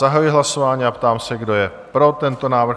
Zahajuji hlasování a ptám se, kdo je pro tento návrh?